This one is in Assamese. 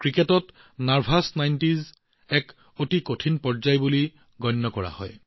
ক্ৰিকেটত নাৰ্ভাছ নাইনটীজ এক অতি কঠিন পৰ্যায় বুলি গণ্য কৰা হয়